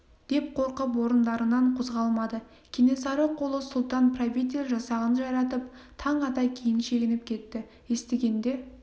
деп қорқып орындарынан қозғалмады кенесары қолы сұлтан-правитель жасағын жайратып таң ата кейін шегініп кетті естігенде